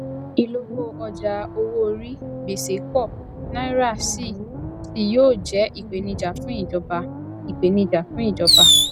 ìlówó ọjà owó orí gbèsè pọ naira sì ṣí yóò jẹ ìpèníjà fún ìjọba ìpèníjà fún ìjọba